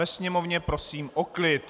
Ve sněmovně prosím o klid.